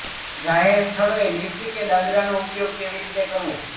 જાહેર સ્થળોએ લિફ્ટ કે દાદરાનો ઉપયોગ કેવી રીતે કરવોઃ